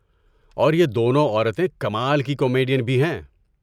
اور یہ دنوں عورتیں کمال کی کامیڈین بھی ہیں۔